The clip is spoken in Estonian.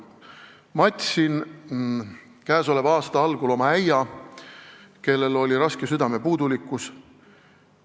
Matsin käesoleva aasta algul oma äia, kellel oli raske südamepuudulikkus.